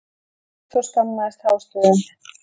Hún reifst og skammaðist hástöfum.